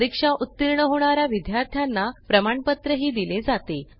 परीक्षा उतीर्ण होणा या विद्यार्थ्यांना प्रमाणपत्रही दिले जाते